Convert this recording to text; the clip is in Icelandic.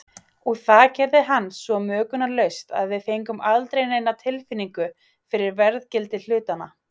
Og það gerði hann svo möglunarlaust að við fengum aldrei neina tilfinningu fyrir verðgildi hlutanna.